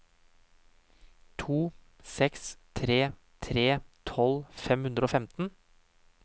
to seks tre tre tolv fem hundre og femten